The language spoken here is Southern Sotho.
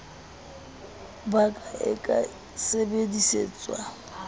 ba ka e ka sebedisetswa